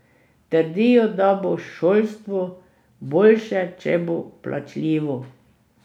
Trdijo, da bo šolstvo boljše, če bo plačljivo.